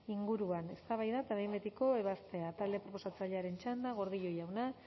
inguruan eztabaida eta behin betiko ebazpena talde proposatzailearen txanda gordillo jauna